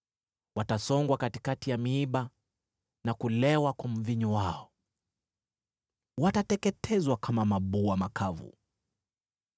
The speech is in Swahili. Watasongwa katikati ya miiba na kulewa kwa mvinyo wao. Watateketezwa kama mabua makavu.